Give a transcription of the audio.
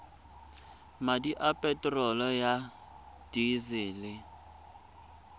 madi a peterolo ya disele